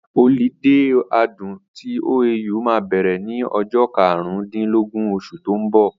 Ọlidé ọdún tí OAU máa bẹ̀rẹ̀ ní ọjọ́ karùn dín lógún osù tó ń bọ̀